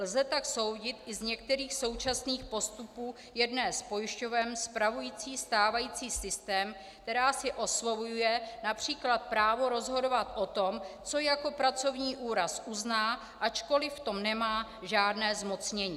Lze tak soudit i z některých současných postupů jedné z pojišťoven spravujících stávající systém, která si osvojuje například právo rozhodovat o tom, co jako pracovní úraz uzná, ačkoliv v tom nemá žádné zmocnění.